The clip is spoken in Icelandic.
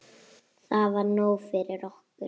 Það var nóg fyrir okkur.